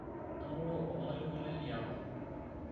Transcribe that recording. anoto olmalimui lai liapa